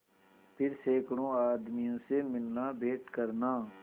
फिर सैकड़ों आदमियों से मिलनाभेंट करना